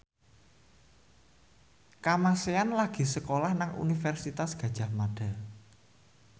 Kamasean lagi sekolah nang Universitas Gadjah Mada